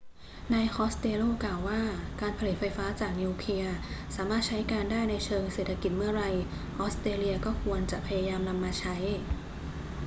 นายคอสเตลโลกล่าวว่า การผลิตไฟฟ้าจากนิวเคลียร์สามารถใช้การได้ในเชิงเศรษฐกิจเมื่อไร ออสเตรเลียก็ควรจะพยายามนำมาใช้